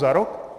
Za rok?